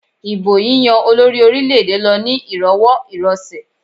Ìbò yíyán olórí orílẹ̀-èdè lọ ní ìrọwọ́ ìrọsẹ̀.